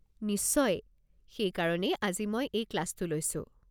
নিশ্চয়, সেইকাৰণেই আজি মই এই ক্লাছটো লৈছোঁ।